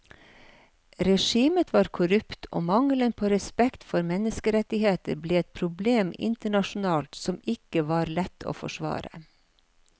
Regimet var korrupt og mangelen på respekt for menneskerettigheter ble et problem internasjonalt som ikke var lett å forsvare.